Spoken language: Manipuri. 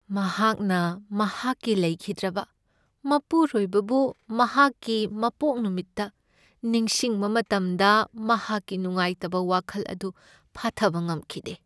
ꯃꯍꯥꯛꯅ ꯃꯍꯥꯛꯀꯤ ꯂꯩꯈꯤꯗ꯭ꯔꯕ ꯃꯄꯨꯔꯣꯏꯕꯕꯨ ꯃꯍꯥꯛꯀꯤ ꯃꯄꯣꯛ ꯅꯨꯃꯤꯠꯇ ꯅꯤꯡꯁꯤꯡꯕ ꯃꯇꯝꯗ ꯃꯍꯥꯛꯀꯤ ꯅꯨꯉꯥꯏꯇꯕ ꯋꯥꯈꯜ ꯑꯗꯨ ꯐꯥꯊꯕ ꯉꯝꯈꯤꯗꯦ ꯫